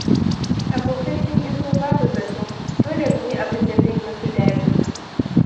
Abokai sun iso babu zato. Dole mu yi abinda zai yi musu daɗi.